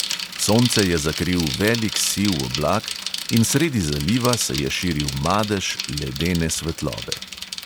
Sonce je zakril velik siv oblak in sredi zaliva se je širil madež ledene svetlobe.